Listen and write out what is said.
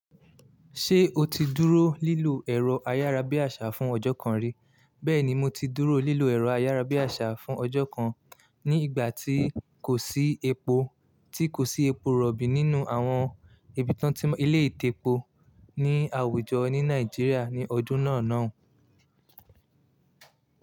Ṣé o ti dúró lílọ ẹ̀rọ ayárabíàṣá fún ọjọ́ kan rí? Bẹ́ẹ̀ni, mo ti dúró lílọ ẹ̀rọ ayárabíàṣá fún ọjọ́ kan ní ìgbà tí kò sí epo, tí kò sí epo rọ̀bì nínú àwọn ibi tí ilé ì tepo ní àwùjọ ní Nàìjíríà ní ọdún náà lo un.